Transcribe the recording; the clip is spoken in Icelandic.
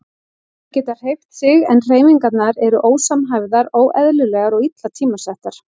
Þau geta hreyft sig en hreyfingarnar eru ósamhæfðar, óeðlilegar og illa tímasettar.